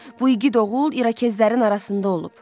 Bu igid oğul İrokezlərin arasında olub.